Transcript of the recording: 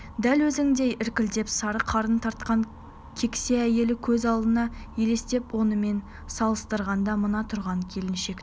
дәл өзіндей іркілдек сары қарын тартқан кексе әйелі көз алдыңа елестеп онымен салыстырғанда мына тұрған келіншектің